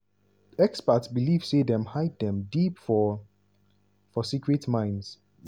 experts believe say dem hide dem deep for for secret mines.